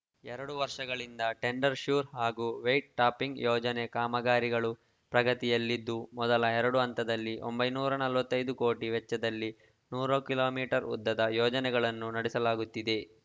ಎರಡು ವರ್ಷಗಳಿಂದ tender sure ಹಾಗೂ ವೈಟ್‌ಟಾಪಿಂಗ್‌ ಯೋಜನೆ ಕಾಮಗಾರಿಗಳು ಪ್ರಗತಿಯಲ್ಲಿದ್ದು ಮೊದಲ ಎರಡು ಹಂತದಲ್ಲಿ ಒಂಬೈನೂರ ನಲವತ್ತ್ ಐದು ಕೋಟಿ ವೆಚ್ಚದಲ್ಲಿ ನೂರು ಕಿಲೋ ಮೀಟರ್ ಉದ್ದದ ಯೋಜನೆಗಳನ್ನು ನಡೆಸಲಾಗುತ್ತಿದೆ